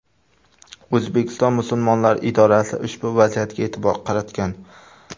O‘zbekiston musulmonlari idorasi ushbu vaziyatga e’tibor qaratgan .